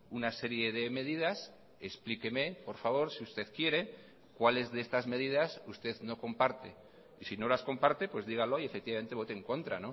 una serie de medidas explíqueme por favor si usted quiere cuáles de estas medidas usted no comparte y si no las comparte pues dígalo y efectivamente vote en contra